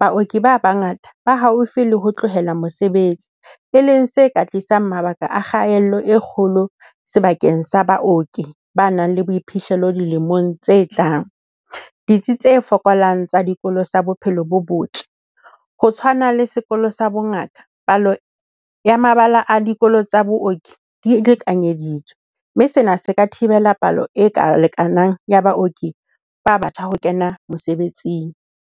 Baoki ba bangata ba haufi le ho tlohela mosebetsi, e leng se ka tlisang mabaka a kgaello e kgolo sebakeng sa baoki ba nang le boiphihlelo dilemong tse tlang. Ditsi tse fokolang tsa dikolo tsa bophelo bo botle, ho tshwana le sekolo sa bongaka. Palo ya mabala a dikolo tsa booki di lekanyeditswe. Mme sena se ka thibela palo e ka lekanang ya baoki ba batjha ho kena mosebetsing.